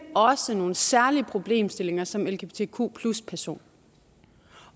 også har nogle særlige problemstillinger som lgbtq personer